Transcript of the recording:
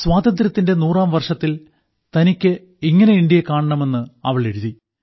സ്വാതന്ത്ര്യത്തിന്റെ 100ാം വർഷത്തിൽ തനിക്ക് ഇങ്ങനെ ഇന്ത്യ കാണണമെന്ന് അവൾ എഴുതി